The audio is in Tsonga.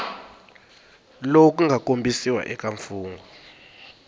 lowu nga kombisiwa eka mfungho